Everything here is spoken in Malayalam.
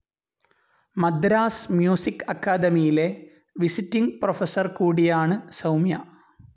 മദ്രാസ്‌ മ്യൂസിക്‌ അക്കാദമിയിലെ വിസിറ്റിങ്‌ പ്രൊഫസർ കൂടിയാണ് സൗമ്യ.